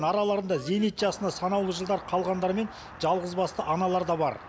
араларында зейнет жасына санаулы жылдар қалғандар мен жалғызбасты аналар да бар